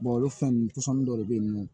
olu fɛnnin pɔsɔni dɔ de bɛ yen nɔ